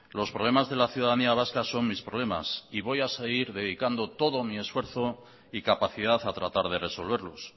los problemas de la ciudadanía vasca son mis problemas y voy a seguir dedicando todo mi esfuerzo y capacidad a tratar de resolverlos